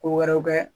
Ko wɛrɛw kɛ